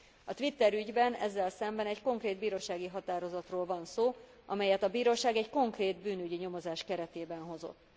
A Twitter ügyben ezzel szemben egy konkrét bírósági határozatról van szó, amelyet a bíróság egy konkrét bűnügyi nyomozás keretében hozott.